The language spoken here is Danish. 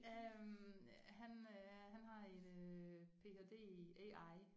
Øh han øh han har en øh ph.d. i AI